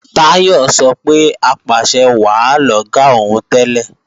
Táyọ̀ sọ pé apàṣẹwàá lọ̀gá òun tẹ́lẹ̀